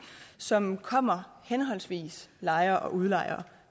som kommer henholdsvis lejer og udlejer